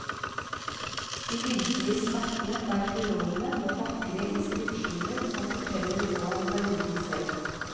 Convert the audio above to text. De virkelige skattene for arkeologene var vakre inskripsjoner som forteller noe om perioden selv.